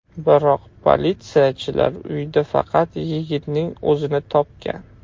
Biroq politsiyachilar uyda faqat yigitning o‘zini topgan.